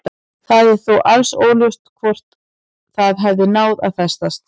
Það er þó alls óljóst hvort það hafi náð að festast.